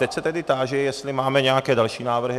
Teď se tedy táži, jestli máme nějaké další návrhy.